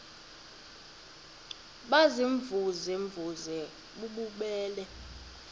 baziimvuze mvuze bububele